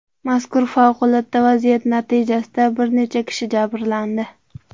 Mazkur favqulodda vaziyat natijasida bir necha kishi jabrlandi.